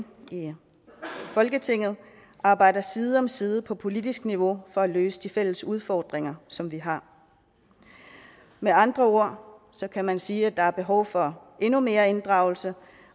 folketinget arbejder side om side på politisk niveau for at løse de fælles udfordringer som vi har med andre ord kan man sige at der er behov for endnu mere inddragelse